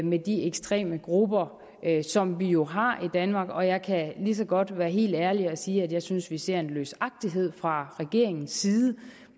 med de ekstreme grupper som vi jo har i danmark og jeg kan lige så godt være helt ærlig og sige at jeg synes at vi ser en løsagtighed fra regeringens side